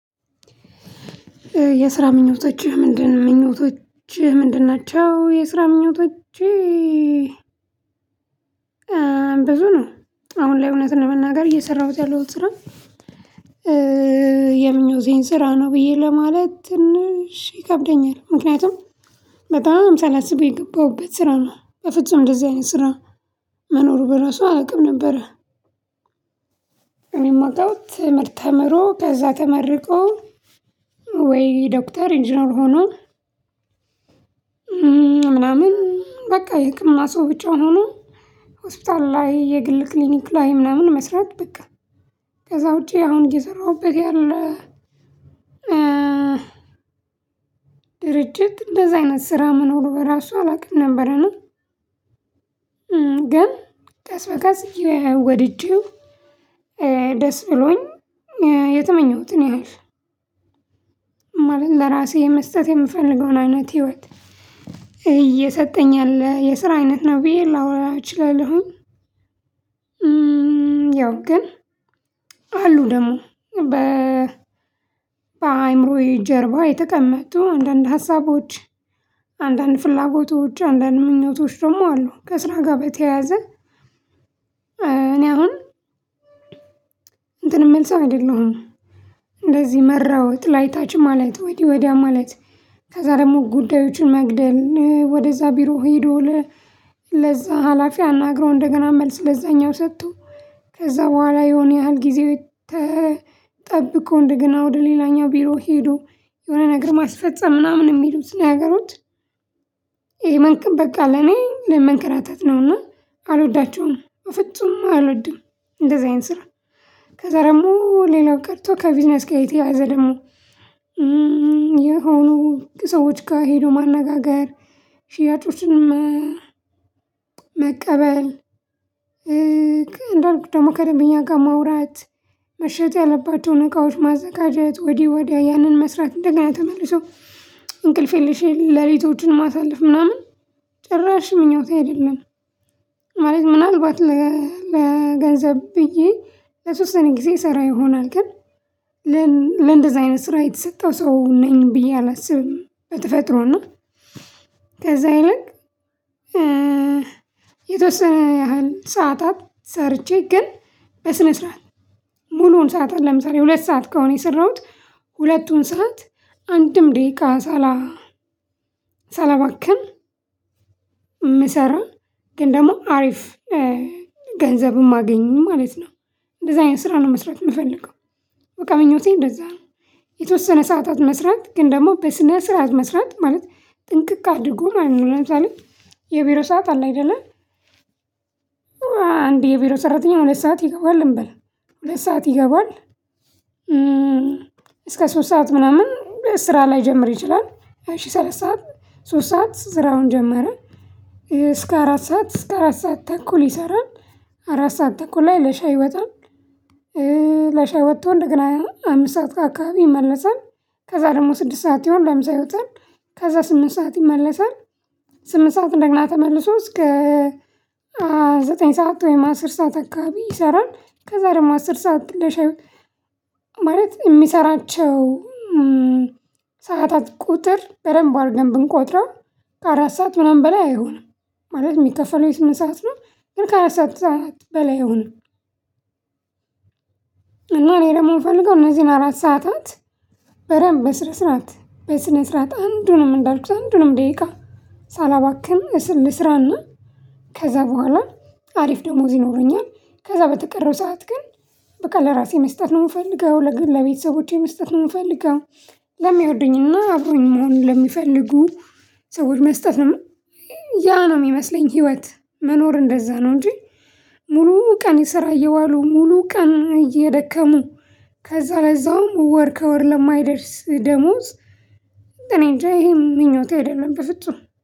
የስራ ምኞቶችህ ምንድነው ምኞቶችህ ምንድን ናቸው? የስራ ምኞቶችህ ብዙ ነው። አሁን ላይ እውነት ለመናገር እየሰራሁት ያለሁት ስራ የምኞቴን ስራ ነው ብዬ ለማለት ትንሽ ይከብደኛል። ምክንያቱም በጣም ሳላስብ የገባሁበት ስራ ነው በፍጹም እንደዚህ አይነት ስራ መኖሩ በራሱ አላውቅም ነበር። የሚመጣው ትምህርት ተምሮ ከዛ ተመርቆ ወይ ዶክተር ኢንጂነር ሆኖ። ምናምን በቃ የህክምና ሰው ብቻውን ሆኖ ሆስፒታል ላይ የግል ክሊኒክ ላይ ምናምን መስራት በቃ። ከዛ ውጪ አሁን እየሰራሁበት ያለ ድርጅት እንደዛ አይነት ስራ መኖሩ በራሱ አላውቅም ነበረና። ግን ቀስ በቀስ ወድጀው ደስ ብሎኝ የተመኘሁትን ያህል ለራሴ መስጠት የምፈልገውን አይነት ህይወት እየሰጠኝ ያለ የስራ አይነት ነው ብዬ ላወራ እችላለሁ። ያው ግን አሉ ደግሞ በ በአእምሮዬ ጀርባ የተቀመጡ አንዳንድ ሀሳቦች አንዳንድ ፍላጎቶች አንዳንድ ምኞቶች ደግሞ አሉ። ከስራ ጋር በተያያዘ እኔ አሁን እንትን የምልሰው አይደለሁም። እንደዚህ መራወጥ ላይ ታች ማለት ወዲያ ወዲያ ማለት ከዛ ደግሞ ጉዳዮችን መግደል ወደዛ ቢሮ ሄዶ ለዛ ሀላፊ አናግረው እንደገና መልስ ለዛኛው ሰቶ ከዛ በኋላ የሆነ ያህል ጊዜ ተጠብቆ እንደገና ወደ ሌላኛው ቢሮ ሄዶ የሆነ ነገር ማስፈጸም ምናምን የሚሉት ስናገሩት ነገሮች። ይሄ መንቀብ በቃ ለኔ ለመንቀራታት ነውና አልወዳቸውም በፍጹም አልወድም። እንደዚህ አይነት ስራ ከዛ ደግሞ ሌላው ቀርቶ ከቪዚነስ የተያዘ ደግሞ የሆኑ ከሰዎች ጋር ሄዶ ማነጋገር ሽያጮችንም መቀበል እንዳልኩት ደግሞ ከደንበኛ ጋር ማውራት መሸጥ ያለባቸውን እቃዎች ማዘጋጀት ወዲህ ወዲያ ያንን መስራት እንደገና ተመልሶ እንቅልፌልሽ ሌሊቶችን ማሳለፍ ምናምን ጭራሽ ምኞት አይደለም። ማለት ምናልባት ለገንዘብ ብዬ ለተወሰኔ ጊዜ ይሰራ ይሆናል ግን ለእንደዚህ አይነት ስራ የተሰጠው ሰው ነኝ ብዬ አላስብም በተፈጥሮ ነው። ከዛ ይልቅ የተወሰነ ያህል ሰዓታት ሰርቼ ግን በስነ ስርዓት ሙሉውን ሰዓት አይደለም ሰዓት ሁለት ሰዓት ከሆነ የሰራሁት ሁለቱን ሰዓት አንድም ደቂቃ ሳላባክን ምሰራ ግን ደግሞ አሪፍ ገንዘብም ማገኙ ማለት ነው። እንደዚህ አይነት ስራ ነው መስራት የምፈልገው በቃ ምኞቴ እንደዛ ነው። የተወሰነ ሰዓታት መስራት ግን ደግሞ በስነ ስርዓት መስራት ማለት ጥንቅቅ አድርጎ ማለት ነው። ምናምን ሳለ የቢሮ ሰዓት አለ አይደለ አንድ የቢሮ ሰራተኛ ሁለት ሰዓት ይገባል እንበል ሁለት ሰዓት ይገባል እስከ ሶስት ሰዓት ምናምን ስራ ላይጀምር ይችላል እሺ ሶስት ሰዓት ስራውን ጀመረ። እስከ አራት ሰዓት እስከ አራት ሰዓት ተንኩል ይሰራል አራት ሰዓት ተኩል ላይ ለሻይ ይወጣል። ለሻይ ወጥቶ እንደገና አሁን አምስት ሰዓት አካባቢ ይመለሳል ከዛ ደግሞ ስድስት ሰዓት ይሁን ለምሳሌ ይወጣል ከዛ ስምንት ሰዓት ይመለሳል ስምንት ሰዓት እንደግና ተመልሶ እስከ ዘጠኝ ሰዓት ወይም አስር ሰዓት አካባቢ ይሰራል። ከዛ ደግሞ አስር ሰዓት ለሻይ ማለት የሚሰራቸው ሰዓታት ቁጥር በደንብ አድርገን ብንቆጥረው ከአራት ሰዓት ምናምን በላይ አይሆንም ማለት የሚከፈለው የስምንት ሰዓት ነው ግን ከአራት ሰዓት በላይ አይሆንም። እና ላይ ደግሞ የምፈልገው እነዚህን አራት ሰዓታት በደንብ በስነ ስርዓት በስነ ስርዓት አንዱንም እንዳልኩት አንዱንም ደቂቃ ሳላባክን ልስራና ከዛ በኋላ አሪፍ ደሞዝ ይኖሩኛል። ከዛ በተቀረው ሰዓት ግን በቃ ለራሴ መስጠት ነው የምፈልገው ለግለ ቤተሰቦቼ መስጠት ነው የምፈልገው። ለሚወዱኝና አብሮኝ መሆን ለሚፈልጉ ሰዎች መስጠት ነው። ያ ነው የሚመስለኝ ህይወት መኖር እንደዛ ነው እንጂ። ሙሉ ቀን የሰራ እየዋሉ ሙሉ ቀን እየደከሙ ከዛ ለዛውም ወር ከወር ለማይደርስ ደሞዝ እኔ እንጃ ይሄ ምኞት አይደለም በፍጹም።